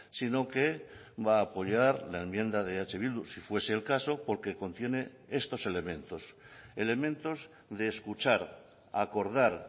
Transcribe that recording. sino que va a apoyar la enmienda de eh bildu si fuese el caso porque contiene estos elementos elementos de escuchar acordar